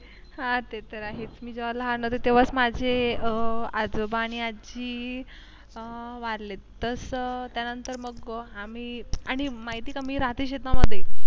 ते तर आहेच मी जेव्हा लहान होते तेव्हाच माझे अह आजोबा आणि आजी अह वारले तसं त्यानंतर मग आम्ही आणि माहिती कमी राहते शेतामध्ये